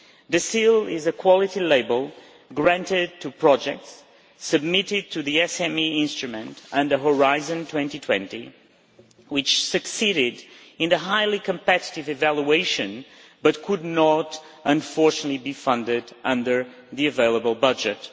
The Seal is a quality label granted to projects submitted to the SME Instrument and Horizon 2020 which succeeded in the highly competitive evaluation but could not, unfortunately, be funded under the available budget.